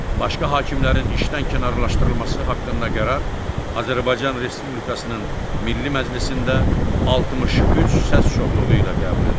Başqa hakimlərin işdən kənarlaşdırılması haqqında qərar Azərbaycan Respublikasının Milli Məclisində 63 səs çoxluğu ilə qəbul edilir.